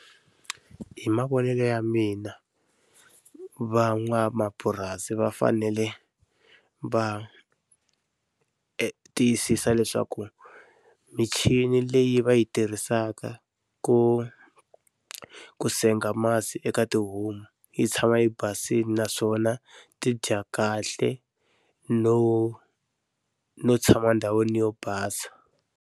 Hi mavonelo ya mina, va n'wamapurasi va fanele va tiyisisa leswaku michini leyi va yi tirhisaka ku ku senga masi eka tihomu yi tshama yi basile naswona, ti dya kahle no no tshama ndhawini yo basa.